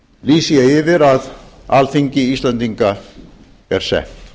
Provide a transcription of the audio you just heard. lýsi ég yfir að alþingi íslendinga er sett